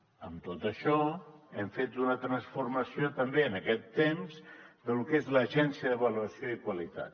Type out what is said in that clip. amb tot això hem fet una transformació també en aquest temps de lo que és l’agència d’avaluació i qualitat